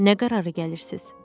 Nə qərara gəlirsiz?